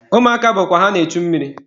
Ụmụaka bụkwa na-echu mmiri.